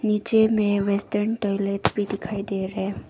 नीचे में western toilet भी दिखाई दे रहे हैं।